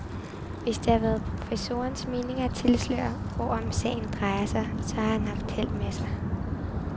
Hvis det har været professorens mening at tilsløre, hvorom sagen drejer sig, så har han haft held med sig.